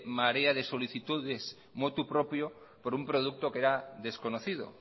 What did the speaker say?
marea de solicitudes motu propio por un producto que era desconocido